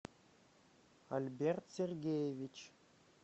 альберт сергеевич